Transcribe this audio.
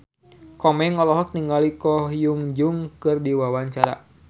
Komeng olohok ningali Ko Hyun Jung keur diwawancara